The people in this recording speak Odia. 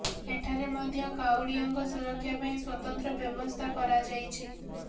ଏଠାରେ ମଧ୍ୟ କାଉଡ଼ିଆଙ୍କ ସୁରକ୍ଷା ପାଇଁ ସ୍ବତନ୍ତ୍ର ବ୍ୟବସ୍ଥା କରାଯାଇଛି